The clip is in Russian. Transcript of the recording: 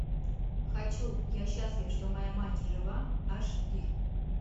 хочу я счастлив что моя мать жива аш ди